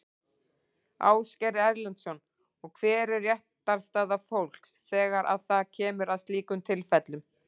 Ásgeir Erlendsson: Og hver er réttarstaða fólks þegar að það kemur að slíkum tilfellum?